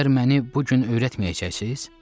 Məgər məni bu gün öyrətməyəcəksiniz?